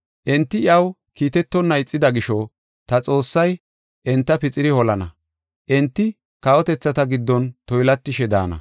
Enti iyaw kiitetonna ixida gisho ta Xoossay enta pixiri holana; enti kawotethata giddon toylatishe daana.